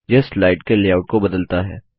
यह स्लाइड के लेआउट को बदलता है